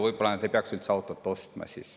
Võib-olla nad ei peaks siis üldse autot ostma.